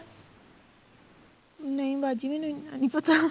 ਨਹੀਂ ਬਾਜੀ ਮੈਨੂੰ ਇੰਨਾ ਨਹੀਂ ਪਤਾ